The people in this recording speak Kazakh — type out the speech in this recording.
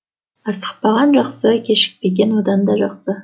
асықпаған жақсы кешікпеген одан да жақсы